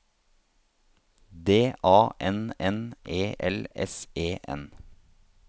D A N N E L S E N